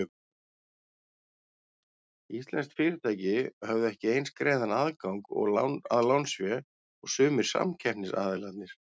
Íslensk fyrirtæki höfðu ekki eins greiðan aðgang að lánsfé og sumir samkeppnisaðilarnir.